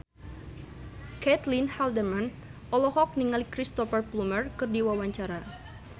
Caitlin Halderman olohok ningali Cristhoper Plumer keur diwawancara